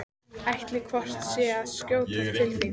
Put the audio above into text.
Ætlaði hvort sem er að skjótast til þín.